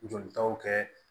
Jolitaw kɛ